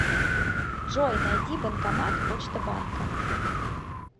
джой найди банкомат почта банка